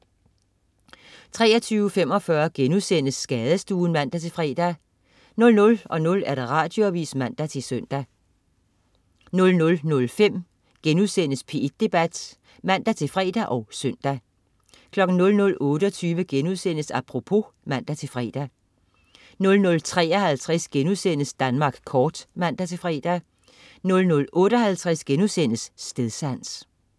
23.45 Skadestuen* (man-fre) 00.00 Radioavis (man-søn) 00.05 P1 Debat* (man-fre og søn) 00.28 Apropos* (man-fre) 00.53 Danmark kort* (man-fre) 00.58 Stedsans*